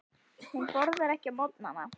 Hún borðar ekki á morgnana.